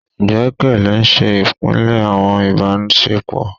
Igbẹkẹle n ṣe ipilẹ awọn ibasepo